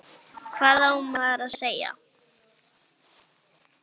Hvað á maður að segja?